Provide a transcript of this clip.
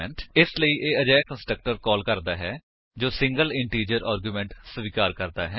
ਇਸ ਲਈ ਇਹ ਅਜਿਹਾ ਕੰਸਟਰਕਟਰ ਕਾਲ ਕਰਦਾ ਹੈ ਜੋ ਸਿੰਗਲ ਇੰਟੀਜਰ ਆਰਗੁਮੇਂਟ ਸਵੀਕਾਰ ਕਰਦਾ ਹੈ